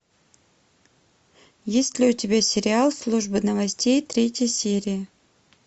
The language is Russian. есть ли у тебя сериал служба новостей третья серия